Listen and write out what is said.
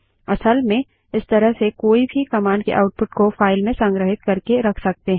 असल में इस तरह से कोई भी कमांड के आउटपुट को फाइल में संग्रहित करके रख सकते हैं